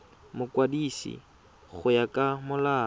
mokwadisi go ya ka molao